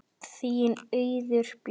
Þín Auður Björg.